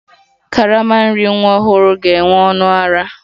Karama nri nwa ọhụrụ ga-enwe ọnụ ara